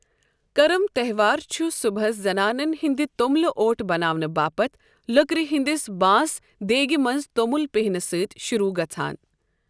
کَرم تہوار چھ صُبحس زنانن ہنٛدِ توٚملہٕ اوٗٹ بناونہٕ باپتھ لٔکرِ ہِنٛدِس بانس، دھیگِہ منٛز توٚمُل پیہنہٕ سۭتۍ شُروٗع گَژھان۔